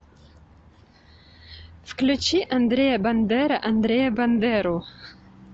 включи андрея бандера андрея бандеру